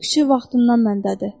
Küçük vaxtından məndədir.